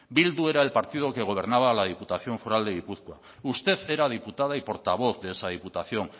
bildu era el partido que gobernaba la diputación foral de gipuzkoa usted era diputada y portavoz de esa diputación